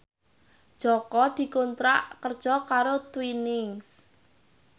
Jaka dikontrak kerja karo Twinings